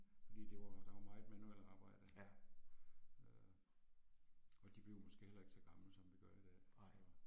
Fordi det var der var meget manuelt arbejde. Øh og de blev måske heller ikke så gamle som vi gør i dag, så